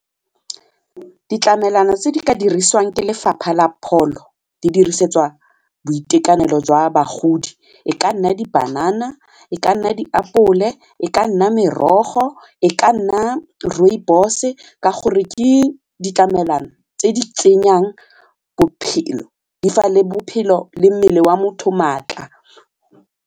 Ditlamelwana tse di ka dirisiwang ke Lefapha la Pholo di dirisetswa boitekanelo jwa bagodi e ka nna dipanana, e ka nna diapole, e ka nna merogo, e ka nna rooibos-e ka gore ke ditlamelwana tse di tsenyang bophelo di fa le bophelo le mmele wa motho maatla.